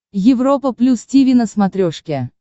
европа плюс тиви на смотрешке